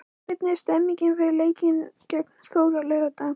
Hvernig er stemningin fyrir leikinn gegn Þór á laugardag?